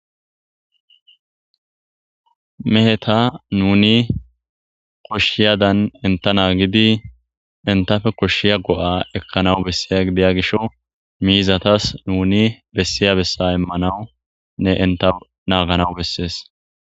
Meheta nuni koshiyadan enta nagidi entafe koshiya go'a ekanawu besyia gidya gisho mizatas nuni besiya besa imanawunne enta naganawu beses.